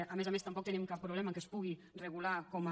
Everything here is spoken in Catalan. a més a més tampoc tenim cap problema que es puga regular com a